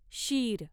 शीर